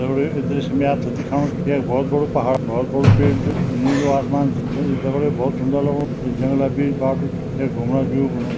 इ दृश्य में आप थें दिक्खणू की यख बहौत बडु पहाड़ बहौत बडु पेड़ च नीलू आसमान च बहौत सुन्दर लगणू इ जंगला बीच एक बाटू च यख घुमणा व्यू बनू।